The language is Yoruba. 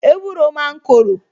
Ewúro máa ń korò